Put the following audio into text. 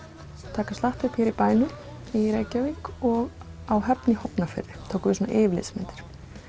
taka slatta upp hér í bænum í Reykjavík og á Höfn í Hornafirði tókum við svona yfirlitsmyndir